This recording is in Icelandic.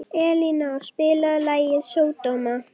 Elíná, spilaðu lagið „Sódóma“.